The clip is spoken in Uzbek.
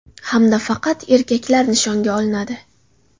Hamda faqat erkaklar nishonga olinadi.